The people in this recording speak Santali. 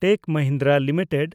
ᱴᱮᱠ ᱢᱟᱦᱤᱱᱫᱨᱟ ᱞᱤᱢᱤᱴᱮᱰ